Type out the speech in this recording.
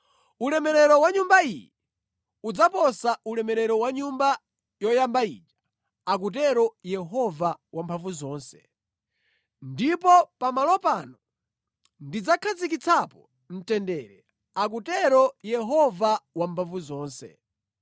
‘Ulemerero wa nyumba iyi udzaposa ulemerero wa nyumba yoyamba ija,’ akutero Yehova Wamphamvuzonse. ‘Ndipo pamalo pano ndidzakhazikitsapo mtendere,’ akutero Yehova Wamphamvuzonse.”